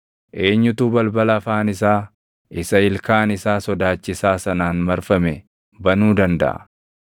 Eenyutu balbala afaan isaa isa ilkaan isaa sodaachisaa sanaan marfame banuu dandaʼa?